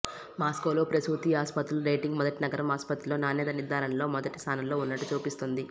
మాస్కోలో ప్రసూతి ఆస్పత్రులు రేటింగ్ మొదటి నగరం ఆసుపత్రిలో నాణ్యత నిర్ధారణలో మొదటి స్థానంలో ఉన్నట్టు చూపిస్తుంది